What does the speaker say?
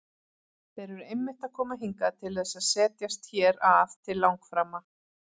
Þeir eru einmitt að koma hingað til þess að setjast hér að til langframa!